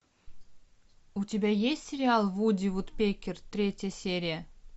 у тебя есть сериал вуди вудпекер третья серия